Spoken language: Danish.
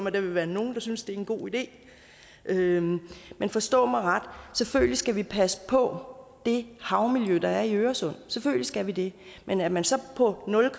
at der vil være nogle der synes at det er en god idé men forstå mig ret selvfølgelig skal vi passe på det havmiljø der er i øresund selvfølgelig skal vi det men at man så på nul